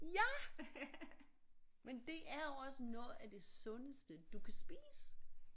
Ja men det er jo også noget af det sundeste du kan spise